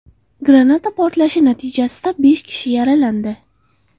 Granata portlashi natijasida besh kishi yaralandi.